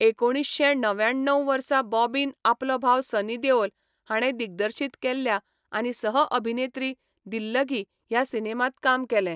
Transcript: एकुणीशें णव्याण्णव वर्सा बॉबीन आपलो भाव सनी देओल हाणें दिग्दर्शीत केल्ल्या आनी सह अभिनेत्री दिल्लगी ह्या सिनेमांत काम केलें.